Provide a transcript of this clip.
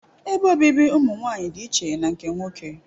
Ebe obibi ụmụ nwanyị dị iche na nke nwoke